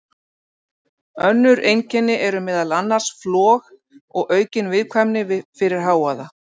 Önnur einkenni eru meðal annars flog og aukin viðkvæmni fyrir hávaða.